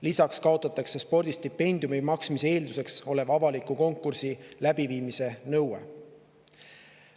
Lisaks kaotatakse spordistipendiumi maksmise eelduseks oleva avaliku konkursi läbiviimise nõue.